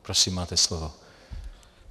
Prosím, máte slovo.